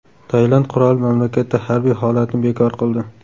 Tailand qiroli mamlakatda harbiy holatni bekor qildi.